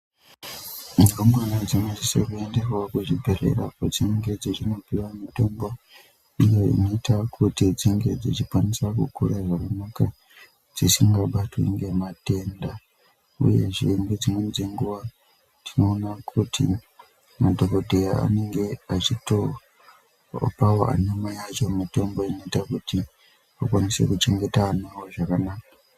Ndumure dzinosisa kuendawo kuzvibhedhlera iyo kwadzinenge dzechienda kuzvibhedhlera iyo kwadzinenge dzechienda kundopuwa mitombo iyo inoita kuti dzinge dzechikwanisa kukura zvakanaka dzisingabatwi ngematenda. Uyezve ngedzimweni dzenguwa tinoonaka kuti madhokodheya anenge achitopawo anamai acho mitombo inoita kuti vakwanise kuchengeta ana awo zvakanaka.